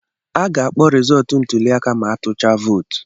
A ga-akpọ rizọtụ ntuli aka ma atụchaa vootu.